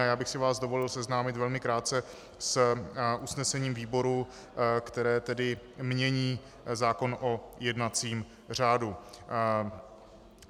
A já bych si vás dovolil seznámit velmi krátce s usnesením výboru, které tedy mění zákon o jednacím řádu.